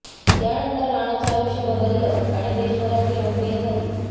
त्यानंतर रानूचं आयुष्य बदललं आणि देशभरात ती लोकप्रिय झाली